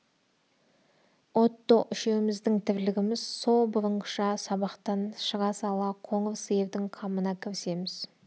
отто үшеуміздің тірлігіміз со бұрынғыша сабақтан шыға сала қоңыр сиырдың қамына кірісеміз